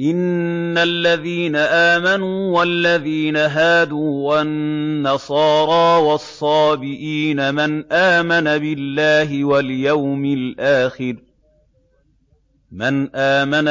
إِنَّ الَّذِينَ آمَنُوا وَالَّذِينَ هَادُوا وَالنَّصَارَىٰ وَالصَّابِئِينَ مَنْ آمَنَ